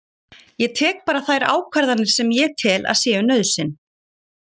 Ég tek bara þær ákvarðanir sem ég tel að séu nauðsyn